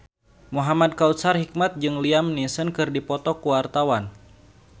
Muhamad Kautsar Hikmat jeung Liam Neeson keur dipoto ku wartawan